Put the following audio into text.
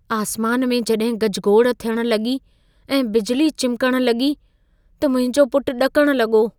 आसमान में जॾहिं गजगोड़ थियणु लॻी ऐं बिजली चिमिकणु लॻी, त मुंहिंजो पुटु ॾकण लॻो।